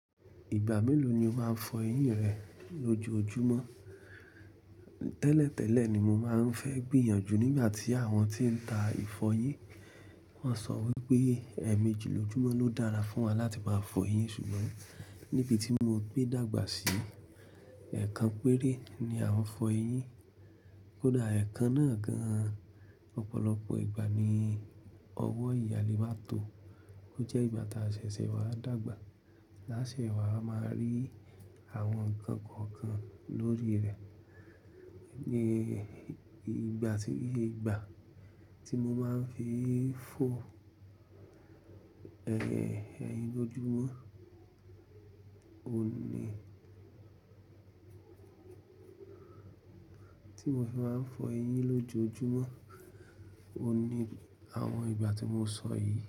Ìgbà mélòó ni o máa ń fọ eyín rẹ lójoojúmọ́? Tẹ́lẹ̀tẹ́lẹ̀ ni mo máa ń fẹ́ gbìyànjú nígbà tí àwọn tí ń ta ìfọyín, wọ́n sọ wí pé ẹ́ẹ̀mejì lójúmọ́ ló dára fún wa láti máa fọ eyín. Ṣùgbọ́n níbi tí mo gbé dàgbà sí, ẹ̀ẹ̀kan péré ni à ń fọ eyín. Kódà ẹ̀ẹ̀kan náà gan-an, ọ̀pọ̀lọpọ̀ ìgbà ni ọwọ́ ìyàlé máa tó, ó jẹ́ ìgbà tá sẹ̀sẹ̀ wá dàgbà. Láṣẹ wà a máa rí àwọn ǹkan kan kan lórí rẹ̀. Ni ìgbà tí, ìgbà tí mo máa ń fi fọ ẹyín lójojúmọ́, òní-- tí mo fi máa ń fọ eyín lójojúmọ́, òní àwọn ìgbà tí mo sọ yìí.